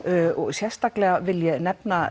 sérstaklega vil ég nefna